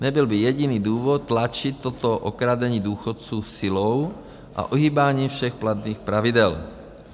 Nebyl by jediný důvod tlačit toto okradení důchodců silou a ohýbáním všech platných pravidel.